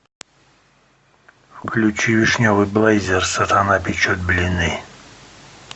включи вишневый блейзер сатана печет блины